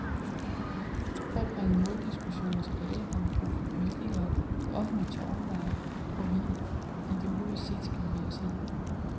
For at bringe måldiskussionen tilbage har vi brug for politikere, der offentligt tør overveje, hvor vi ideologisk set skal bevæge os hen.